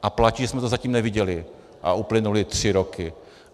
A platí, že jsme to zatím neviděli, a uplynuly tři roky.